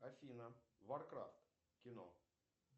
афина варкрафт кино